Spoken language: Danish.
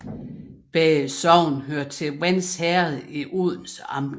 Begge sogne hørte til Vends Herred i Odense Amt